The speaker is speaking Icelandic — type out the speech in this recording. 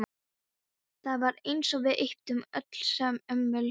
Það var eins og við ypptum öllsömul öxlum.